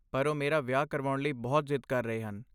ਪਰ ਉਹ ਮੇਰਾ ਵਿਆਹ ਕਰਾਉਣ ਲਈ ਬਹੁਤ ਜਿੱਦ ਕਰ ਰਹੇ ਹਨ।